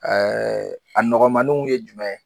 Ɛɛ a nɔgɔmaninw ye jumɛn ye